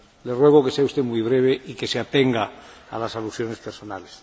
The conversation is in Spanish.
Le ruego que sea usted muy breve y que se atenga a las alusiones personales.